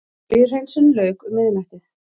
Olíuhreinsun lauk um miðnættið